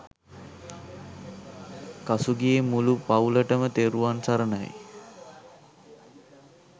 කසුගේ මුළු පවුලටම තෙරුවන් සරණයි